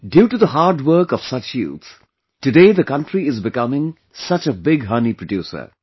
Due to the hard work of such youth, today the country is becoming such a big honey producer